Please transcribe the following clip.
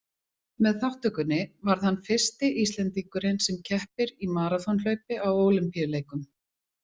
Með þátttökunni varð hann fyrsti íslendingurinn sem keppir í maraþonhlaupi á ólympíuleikum.